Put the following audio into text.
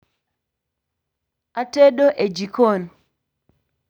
atedo e jikon